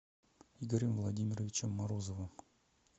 игорем владимировичем морозовым